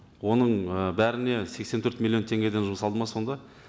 оның ы бәріне сексен төрт миллион теңгеден жұмсалды ма сонда